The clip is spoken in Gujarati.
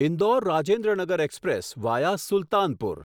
Indore Rajendranagar express via Sultanpur